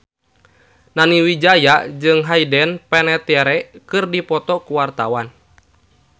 Nani Wijaya jeung Hayden Panettiere keur dipoto ku wartawan